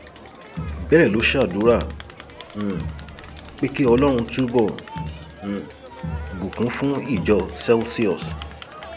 bẹẹ ló ṣàdúrà um pé kí ọlọrun túbọ um bùkún fún ìjọ celsius